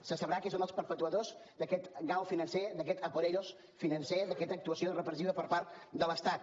se sabrà qui són els perpetuadors d’aquest gal financer d’aquest a por ellos financer d’aquesta actuació repressiva per part de l’estat